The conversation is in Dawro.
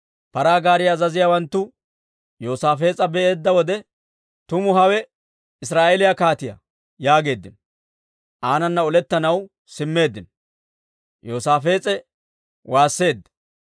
Paraa gaariyaa azaziyaawanttu Yoosaafees'a be'eedda wode, «Tuma hawe Israa'eeliyaa kaatiyaa» yaageeddino. Aanana olettanaw simmeeddino; Yoosaafees'e waasseedda.